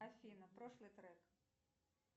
афина прошлый трек